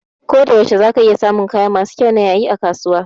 Koda yaushe za ka iya samun kaya masu kyau na yayi a kasuwa